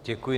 Děkuji.